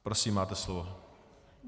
Prosím, máte slovo.